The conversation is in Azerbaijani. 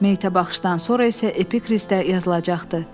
Meyitə baxışdan sonra isə epikrizdə yazılacaqdı.